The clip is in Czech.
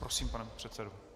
Prosím, pane předsedo.